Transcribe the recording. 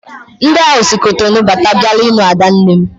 Ndị ahụ si Cotonou bata bịara ilu adanne m